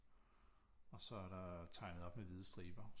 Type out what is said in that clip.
Og så er der tegnet op med hvide striber